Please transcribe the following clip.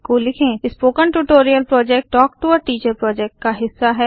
spoken tutorial project talk to a teacher project का हिस्सा है